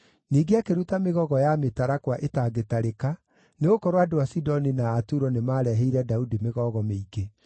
Ningĩ akĩruta mĩgogo ya mĩtarakwa ĩtangĩtarĩka, nĩgũkorwo andũ a Sidoni na a Turo nĩmareheire Daudi mĩgogo mĩingĩ.